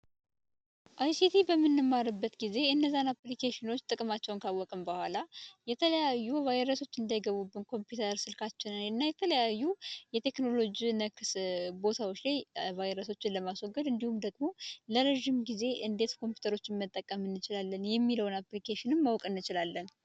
አይሲቲ በምንማርበት ጊዜ የተለያዩ አፕሊኬሽኖችን ጥቅማቸውን ካወቅነው በኋላ የተለያዩ ቫይረሶች እንዳይገቡበት ኮምፒውተር ስልካችን እና የተለያዩ የቴክኖሎጂ ነክ ቦታዎች ቫይረሶችን ለማስወገድ ለረጅም ጊዜ እንዴት ኮምፒውተር መጠቀም እንችላለን የሚለውን አፕሊኬሽን ማወቅ እንችላለን።